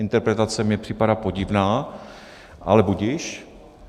Interpretace mi připadá podivná, ale budiž.